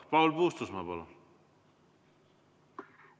Paul Puustusmaa, palun!